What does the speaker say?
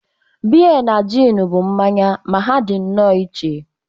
Beer na gin bụ mmanya ma ha dị nnọọ iche